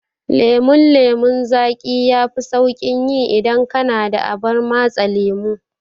Lemon lemon zaƙi yafi sauƙin yi idan kana da abar matse lemo.